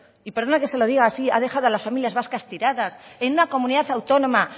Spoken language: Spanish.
y perdone que se lo diga así ha dejado a las familias vascas tiradas en una comunidad autónoma